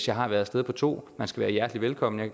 jeg har været af sted på to man skal være hjertelig velkommen jeg